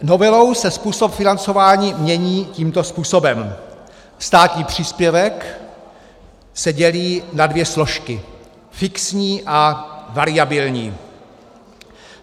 Novelou se způsob financování mění tímto způsobem: Státní příspěvek se dělí na dvě složky - fixní a variabilní.